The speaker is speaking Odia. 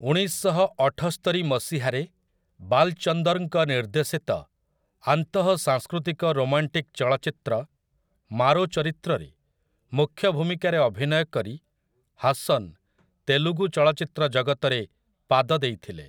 ଉଣେଇଶଶହ ଅଠସ୍ତରି ମସିହାରେ ବାଲ୍‌ଚନ୍ଦର୍‌ଙ୍କ ନିର୍ଦ୍ଦେଶିତ ଆନ୍ତଃ ସାଂସ୍କୃତିକ ରୋମାଣ୍ଟିକ୍ ଚଳଚ୍ଚିତ୍ର 'ମାରୋ ଚରିତ୍ର'ରେ ମୁଖ୍ୟ ଭୂମିକାରେ ଅଭିନୟ କରି ହାସନ୍ ତେଲୁଗୁ ଚଳଚିତ୍ର ଜଗତରେ ପାଦ ଦେଇଥିଲେ ।